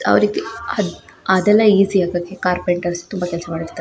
ಯಾವ ರೀತಿ ಅದೆಲ್ಲಾ ಇಜಿ ಆಗಕ್ಕೆ ಕಾರ್ಪೆಂಟರ್ ತುಂಬಾ ಕೆಲ್ಸ ಮಾಡಿರತ್ತರೆ .